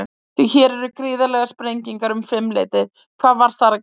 Því hér var gríðarleg sprenging um fimm leytið, hvað var þar að gerast?